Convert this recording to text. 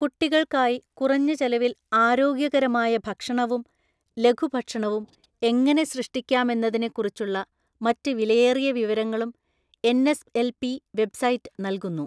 കുട്ടികൾക്കായി കുറഞ്ഞ ചെലവിൽ ആരോഗ്യകരമായ ഭക്ഷണവും ലഘുഭക്ഷണവും എങ്ങനെ സൃഷ്ടിക്കാമെന്നതിനെക്കുറിച്ചുള്ള മറ്റ് വിലയേറിയ വിവരങ്ങളും എൻഎസ്എൽപി വെബ്സൈറ്റ് നൽകുന്നു.